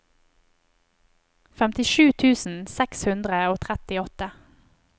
femtisju tusen seks hundre og trettiåtte